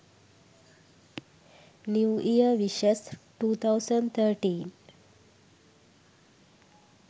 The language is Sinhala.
new year wishes 2013